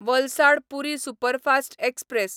Valsad Puri superfast express